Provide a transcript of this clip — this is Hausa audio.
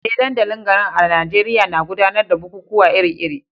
Eh, dandalin garin a Najeriya na gudanar da bukukuwa iri-iri